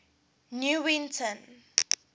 newington